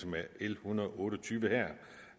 med l en hundrede og otte og tyve